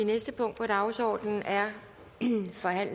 er